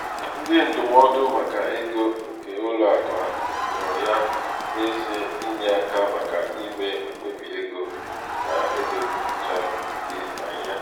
ndị ndụmọdụ maka ego nke ụlọakụ ahụ nọ ya n'ezie inye aka maka ime mkpebi ego na-edochaghị anya.